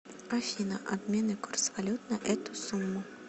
афина обменный курс валют на эту сумму